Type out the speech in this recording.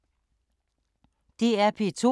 DR P2